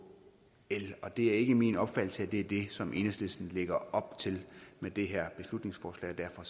el og det er ikke min opfattelse at det er det som enhedslisten lægger op til med det her beslutningsforslag og